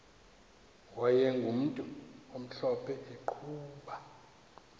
wayegumntu omhlophe eqhuba